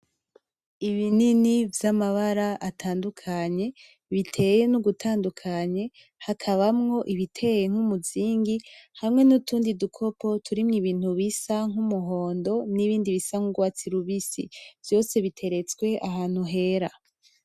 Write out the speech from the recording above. Ibinini vyamabara atandukanye biteye nugutandukanye , hakabamwo ibiteye nkumuzingi , hamwe nutundi dukopo turimwo Ibintu bisa numuhondo nibindi bisa nurwatsi rubisi vyose biteretswe ahantu hera .